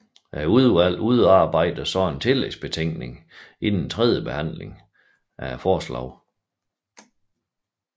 Udvalget udarbejder så en tillægsbetænkning inden tredjebehandlingen af forslaget